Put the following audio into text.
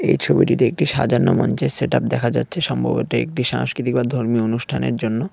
এই ছবিটিতে একটি সাজানো মঞ্চের সেট আপ দেখা যাচ্ছে সম্ভবত একটি সাংস্কৃতিক বা ধর্মীয় অনুষ্ঠানের জন্য।